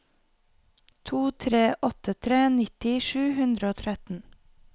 to tre åtte tre nitti sju hundre og tretten